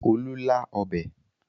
Olú lá ọbẹ̀?